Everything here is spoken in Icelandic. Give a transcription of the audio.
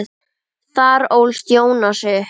Þar ólst Jónas upp.